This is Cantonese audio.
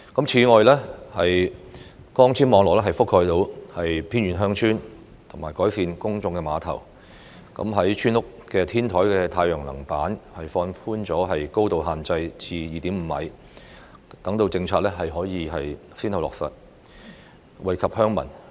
此外，擴展光纖網絡覆蓋範圍至偏遠鄉村、就公眾碼頭進行改善工程，以及放寬村屋天台太陽板高度限制至 2.5 米等政策，亦先後落實，惠及鄉民。